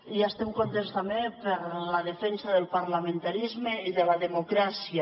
i estem contents també per la defensa del parlamentarisme i de la democràcia